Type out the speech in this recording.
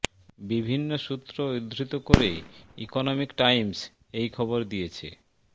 বিভিন্ন সূত্র উদ্ধৃত করে ইকনমিক টাইমস এই খবর দিয়েছে